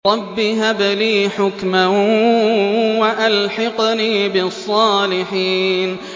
رَبِّ هَبْ لِي حُكْمًا وَأَلْحِقْنِي بِالصَّالِحِينَ